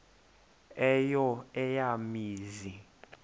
eyo eya mizi